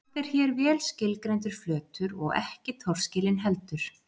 Samt er hér vel skilgreindur flötur og ekki torskilinn heldur.